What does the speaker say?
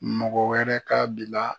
Mɔgɔ wɛrɛ k'a bila